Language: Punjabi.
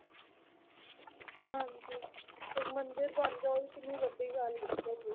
ਹਾਂਜੀ ਫਿਰ ਮੰਦਿਰ ਬਣਦਾ ਉਹ ਕਿੰਨੀ ਵੱਡੀ ਗੱਲ ਹੈ ਮਤਲਬ